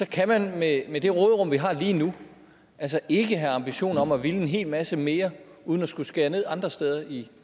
kan man med med det råderum vi har lige nu ikke have ambitioner om at ville en hel masse mere uden at skulle skære ned andre steder i